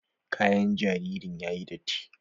Kayan jaririn yayi datti.